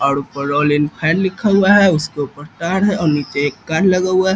और ऊपर Royal Enfield लिखा हुआ है उसके ऊपर तार है और नीचे एक कार लगा हुआ है |